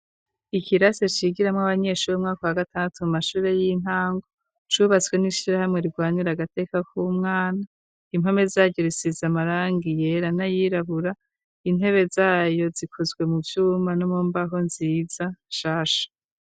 Ikirase cigiramwo abanyeshuremwako wa gatanatu mu mashure y'intango cubatswe n'ishira hamwe rirwanira agateka k'umwana impome zayu risiza amaranga yera n'ayirabura intebe zayo zikuzwe mu vyuma no mu mbaho nziza shasha.